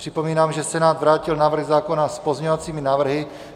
Připomínám, že Senát vrátil návrh zákona s pozměňovacími návrhy.